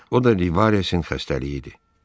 O da Livaresin xəstəliyi idi.